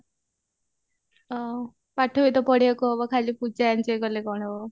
ଓଃ ପାଠ ବି ତ ପଢିବାକୁ ହବ ଖାଲି ପୂଜା enjoy କଲେ କଣ ହବ